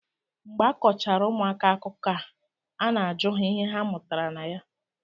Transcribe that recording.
Mgbe a kọchara ụmụaka akụkọ a na-ajụ ha ihe ha mụtara na ya